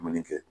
Maninka kɛ